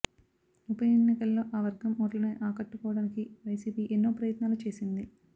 ఉప ఎన్నికల్లో ఆ వర్గం ఓట్లని ఆకట్టుకోడానికి వైసీపీ ఎన్నో ప్రయత్నాలు చేసింది